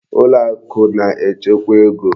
Ụlọakụ na-echekwa ego.